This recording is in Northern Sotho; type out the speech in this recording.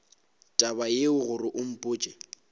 taba yeo gore o mpotše